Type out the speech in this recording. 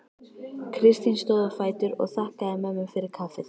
Kristín stóð á fætur og þakkaði mömmu fyrir kaffið.